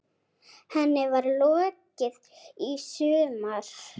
Henni var lokað í sumar.